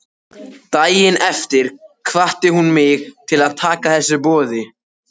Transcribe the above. Daginn eftir hvatti hún mig til að taka þessu boði.